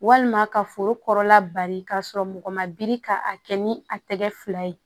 Walima ka foro kɔrɔla bari k'a sɔrɔ mɔgɔ ma biri ka a kɛ ni a tɛgɛ fila ye